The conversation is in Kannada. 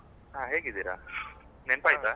ಹಾ ಹೇಗಿದ್ದೀರಾ? ನೆನಪಾಯ್ತಾ?